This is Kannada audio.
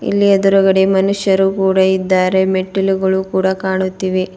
ಇಲ್ಲಿ ಎದುರುಗಡೆ ಮನುಷ್ಯರು ಕೂಡ ಇದ್ದಾರೆ ಮೆಟ್ಟಿಲುಗಳು ಕೂಡ ಕಾಣುತ್ತಿವೆ.